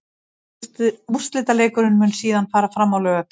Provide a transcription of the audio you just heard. Úrslitaleikurinn mun síðan fara fram á laugardaginn.